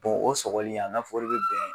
o sɔgɔli a b'e n'a fɔ o de bɛ bɛn